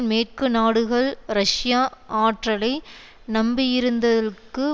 மேற்கு நாடுகள் ரஷ்ய ஆற்றலை நம்பியிருத்தல்க்கு